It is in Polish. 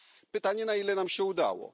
Pytanie, na ile nam się udało?